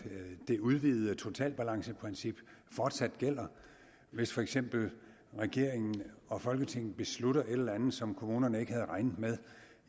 det udvidede totalbalanceprincip fortsat gælder hvis for eksempel regeringen og folketinget beslutter et eller andet som kommunerne ikke havde regnet med